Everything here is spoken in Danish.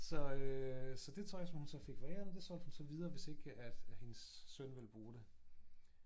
Så øh så det tøj som hun så fik foræret det solgte hun så videre hvis ikke at at hendes søn ville bruge det